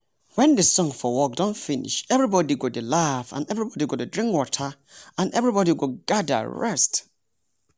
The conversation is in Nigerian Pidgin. wen the song for work don finish everybody go dey laugh everybody go drink water and everybody go gather rest